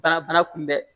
Bana bana kunbɛ